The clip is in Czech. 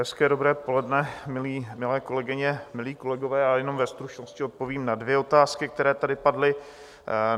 Hezké dobré poledne, milé kolegyně, milí kolegové, já jenom ve stručnosti odpovím na dvě otázky, které tady padly.